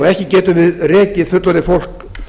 ekki getum við rekið fullorðið fólk